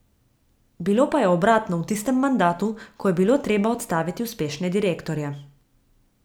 Bilo pa je obratno v tistem mandatu, ko je bilo treba odstaviti uspešne direktorje.